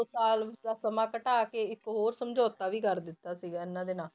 ਸਾਲ ਉਸਦਾ ਸਮਾਂ ਘਟਾ ਕੇ ਇੱਕ ਹੋਰ ਸਮਝੌਤਾ ਵੀ ਕਰ ਦਿੱਤਾ ਸੀਗਾ ਇਹਨਾਂ ਦੇ ਨਾਂ।